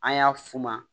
An y'a f'u ma